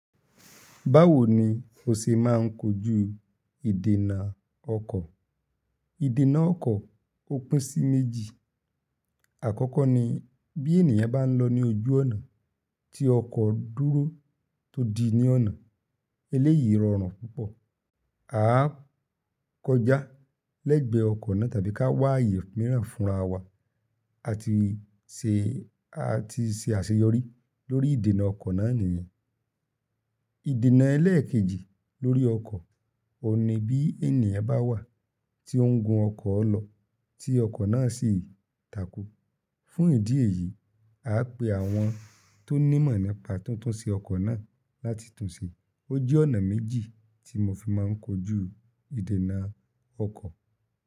Báwo ni o ṣe máa ń kojú ìdènà ọkọ̀? Ìdènà ọkọ̀ ó pín sí méjì. Àkọ́kọ́ ni bí ènìyàn bá ń lọ ní ojú ọ̀nà tí ọkọ̀ dúró tó di ní ọ̀nà, eléyìí rọrùn púpọ̀. A á kọjá lẹ́gbẹ ọkọ̀ náà tàbí ká wá ààyè mìíràn fúnra wa. A ti ṣe, a ti ṣe àṣeyọrí lórí ìdènà ọkọ̀ náà nìyẹn. Ìdènà ẹlẹ́ẹ̀kejì lórí ọkọ̀, ọ̀un ní bí ènìyàn bá wà tí ó ń gun ọkọ̀ lọ tí ọkọ̀ náà sì takú. Fún ìdí èyí, a á pe àwọn tó ní mọ̀ nípa tuntun sí ọkọ̀ náà láti tun ṣe. Ó jẹ́ ọ̀nà méjì tí mo fi máa ń kojú ìdènà ọkọ̀.